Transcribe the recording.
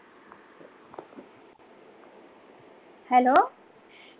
hello